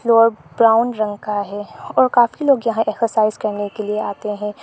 Floor brown रंग का है और काफी लोग यहां है एक्सरसाइज करने के लिए आते हैं।